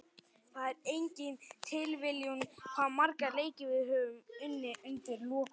Það er engin tilviljun hvað marga leiki við höfum unnið undir lokin.